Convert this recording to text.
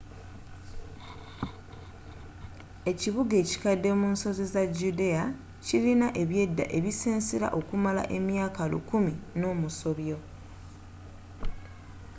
ekibuga ekikadde munsozi za judea kilina ebyedda ebisensera okumala emyaaka lukumi nomusobyo